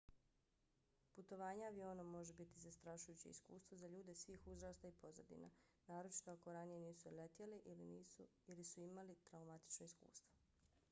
putovanje avionom može biti zastrašujuće iskustvo za ljude svih uzrasta i pozadina naročito ako ranije nisu letjeli ili su imali traumatično iskustvo